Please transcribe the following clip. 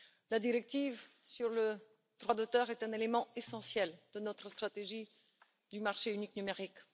La directive sur le droit d'auteur est un élément essentiel de notre stratégie du marché unique numérique.